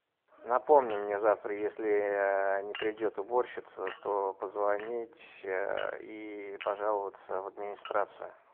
напомни мне завтра если не придет уборщица то позвонить и пожаловаться в администрацию